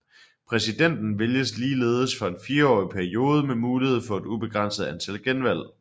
Præsidenten vælges ligeledes for en fireårig periode med mulighed for et ubegrænset antal genvalg